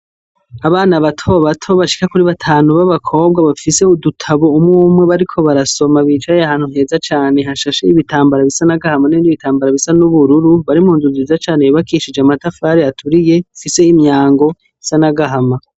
Abana bato bato bashika kuri batanu b'abakobwa bafise udutabu umwe umwe bariko barasoma bicaye ahantu hezaa cane hashashe ibitambara bisa n'agahama hamwe n'ibitambara bisa n'ubururu bari mu nzu nziza cane yubakishije amatafari aturiye ifise imyango isa n'agahama.